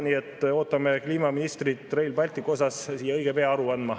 Nii et ootame kliimaministrit Rail Balticu kohta siia õige pea aru andma.